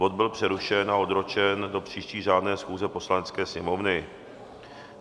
Bod byl přerušen a odročen do příští řádné schůze Poslanecké sněmovny.